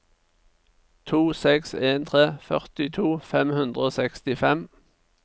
to seks en tre førtito fem hundre og sekstifem